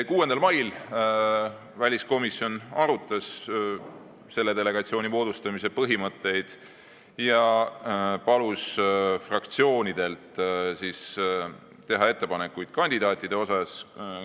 6. mail arutas väliskomisjon selle delegatsiooni moodustamise põhimõtteid ja palus fraktsioonidel teha ettepanekuid kandidaatide kohta.